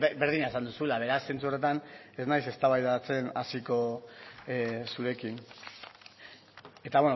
berdina esan duzula beraz zentzu horretan ez naiz eztabaidatzen hasiko zurekin eta